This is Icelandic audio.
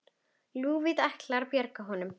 Lúðvík ætlað að bjarga honum.